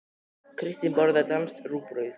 Kristín borðar danskt rúgbrauð.